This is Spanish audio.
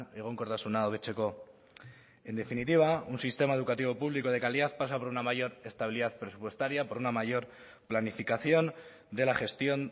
egonkortasuna hobetzeko en definitiva un sistema educativo público de calidad pasa por una mayor estabilidad presupuestaria por una mayor planificación de la gestión